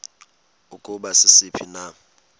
ukuba sisiphi na